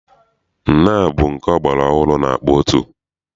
Nnaa bụ nke ọgbara ọhụrụ na-akpọ otu.